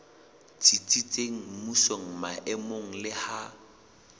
tsitsitseng mmusong maemong le ha